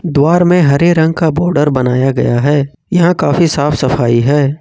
द्वार में हरे रंग का बॉडर बनाया गया है यहां काफी साफ सफाई है।